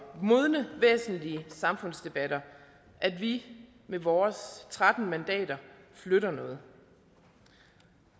modne væsentlige samfundsdebatter at vi med vores tretten mandater flytter noget